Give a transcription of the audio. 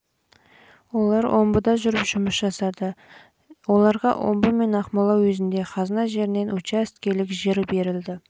жүрді омбыда өмір сүріп жұмыс жасады оларға омбы пен ақмола уездерінде қазына жерінен учаске берілгенше